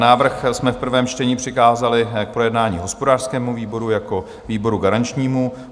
Návrh jsme v prvém čtení přikázali k projednání hospodářskému výboru jako výboru garančnímu.